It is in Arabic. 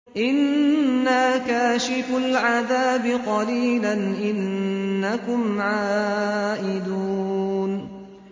إِنَّا كَاشِفُو الْعَذَابِ قَلِيلًا ۚ إِنَّكُمْ عَائِدُونَ